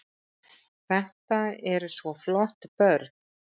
Þetta eru svo flott börn.